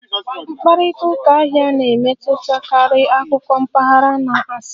Mkparịta ụka ahịa na-emetụtakarị akụkọ mpaghara na asịrị